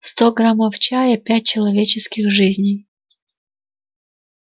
сто граммов чая пять человеческих жизней